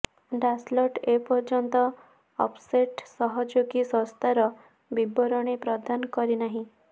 Dassault ଏ ପର୍ଯ୍ୟନ୍ତ offset ସହଯୋଗୀ ସଂସ୍ଥାର ବିବରଣୀ ପ୍ରଦାନ କରିନାହିଁ